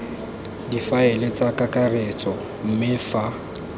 difaele tsa kakaretso mme fa